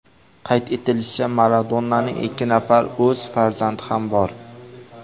Qayd etilishicha, Madonnaning ikki nafar o‘z farzandi ham bor.